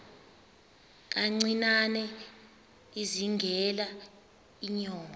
kancinane izingela iinyoka